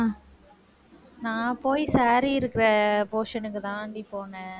நான் போய் saree இருக்கிற, portion க்குதான்டி, போனேன்.